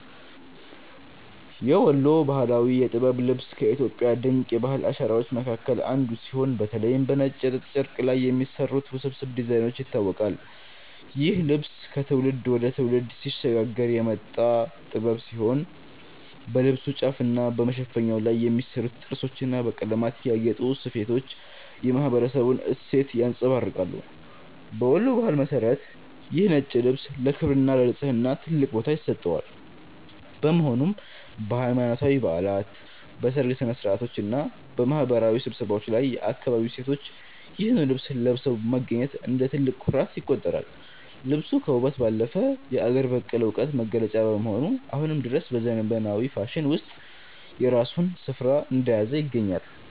የወሎ ባህላዊ የጥበብ ልብስ ከኢትዮጵያ ድንቅ የባህል አሻራዎች መካከል አንዱ ሲሆን፤ በተለይም በነጭ የጥጥ ጨርቅ ላይ በሚሰሩት ውስብስብ ዲዛይኖች ይታወቃል። ይህ ልብስ ከትውልድ ወደ ትውልድ ሲሸጋገር የመጣ ጥበብ ሲሆን፣ በልብሱ ጫፍና በመሸፈኛው ላይ የሚሰሩት ጥርሶችና በቀለማት ያጌጡ ስፌቶች የማኅበረሰቡን እሴት ያንጸባርቃሉ። በወሎ ባህል መሠረት ይህ ነጭ ልብስ ለክብርና ለንጽሕና ትልቅ ቦታ ይሰጠዋል፤ በመሆኑም በሃይማኖታዊ በዓላት፣ በሰርግ ሥነ-ሥርዓቶችና በማኅበራዊ ስብሰባዎች ላይ የአካባቢው ሴቶች ይህንኑ ልብስ ለብሰው መገኘት እንደ ትልቅ ኩራት ይቆጠራል። ልብሱ ከውበት ባለፈ የአገር በቀል ዕውቀት መገለጫ በመሆኑ፣ አሁንም ድረስ በዘመናዊው ፋሽን ውስጥ የራሱን ስፍራ እንደያዘ ይገኛል።